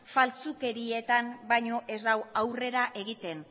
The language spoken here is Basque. faltsukerietan baino ez da aurrera egiten